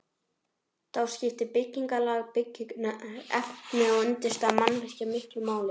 Þá skiptir byggingarlag, byggingarefni og undirstaða mannvirkja miklu máli.